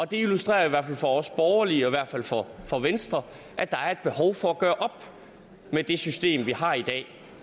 det illustrerer jo for os borgerlige og i hvert fald for for venstre at der er et behov for at gøre op med det system vi har i dag